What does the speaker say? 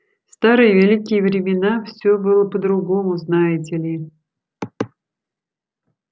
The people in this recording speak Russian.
старые великие времена всё было по-другому знаете ли